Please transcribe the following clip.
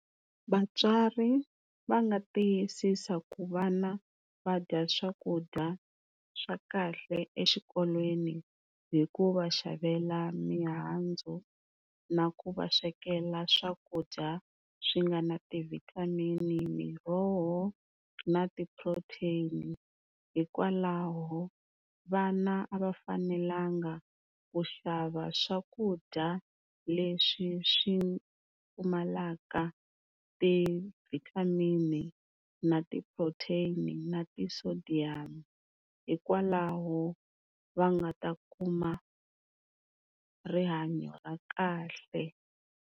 Vatswari va nga tiyisisa ku vana va dya swakudya swa kahle exikolweni hi ku va xavela mihandzu na ku va swekela swakudya swi nga na ti-vitamin-i, miroho na ti-protein-i hikwalaho vana a va fanelanga ku xava swakudya leswi swi pfumalaka ti-vitamin-i na ti-protein-i na ti-sodium hikwalaho va nga ta kuma rihanyo ra kahle.